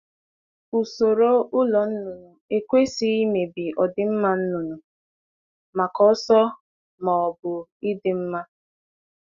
Ụzọ ụlọ zụ anụ ọkụkọ ekwesịghị igbochi ịdị mma ndụ anụ ọkụkọ n’ihi ọsọ ọsọ ọsọ ọsọ ma ọ bụ mfe.